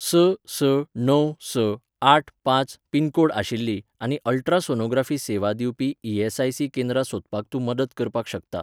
स स णव स आठ पांच पिनकोड आशिल्लीं आनी अल्ट्रासोनोग्राफी सेवा दिवपी ई.एस.आय.सी. केंद्रां सोदपाक तूं मदत करपाक शकता